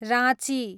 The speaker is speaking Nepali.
राँची